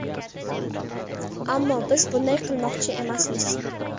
Ammo biz bunday qilmoqchi emasmiz.